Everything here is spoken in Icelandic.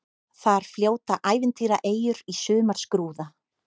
Þar fljóta ævintýraeyjur í sumarskrúða.